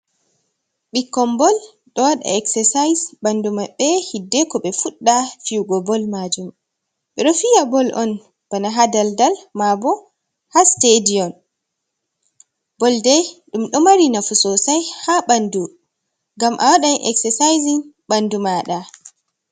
Ɓikkon bol ɗo wada exercise bandu maɓɓe hiddeko ɓe fudda fiyugo bol majum. Ɓe ɗo fiya bol on bana haa dal-dal maabo haa sitadi on. Bol dei ɗum ɗo mari nafu sosai haa bandu ngam a wadan exersaisin ɓandu maɗa.